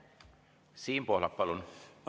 Siim Pohlak, palun!